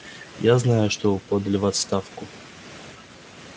я знаю что вы подали в отставку